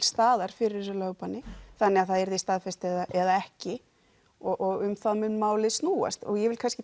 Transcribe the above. staðar fyrir þessu lögbanni þannig að það verði staðfest eða ekki og um það mun málið snúast og ég vil